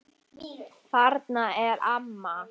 Þarna er amma!